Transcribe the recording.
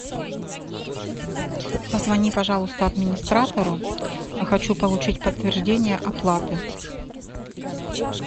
позвони пожалуйста администратору хочу получить подтверждение оплаты